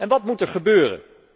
Wat moet er gebeuren?